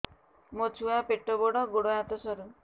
ମୋ ଛୁଆ ପେଟ ବଡ଼ ଗୋଡ଼ ହାତ ସରୁ